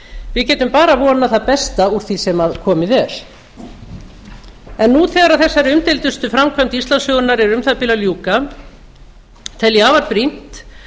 við getum bara vonað það besta úr því sem komið er nú þegar þessari umdeildustu framkvæmd íslandssögunnar er um það bil að ljúka tel ég afar brýnt